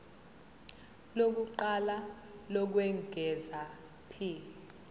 lokuqala lokwengeza p